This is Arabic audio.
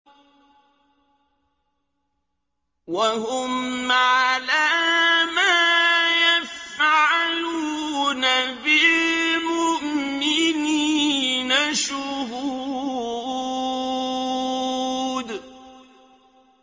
وَهُمْ عَلَىٰ مَا يَفْعَلُونَ بِالْمُؤْمِنِينَ شُهُودٌ